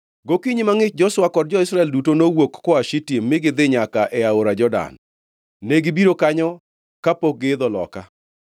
Gokinyi mangʼich Joshua kod jo-Israel duto nowuok koa Shitim, mi gidhi nyaka e aora Jordan, negibiro kanyo kapok giidho loka.